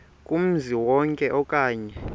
kumzi wonke okanye